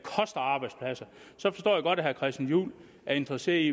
godt at herre christian juhl er interesseret i